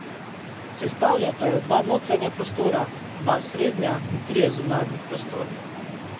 Sestavljata jo dva notranja prostora, dva srednja in trije zunanji prostori.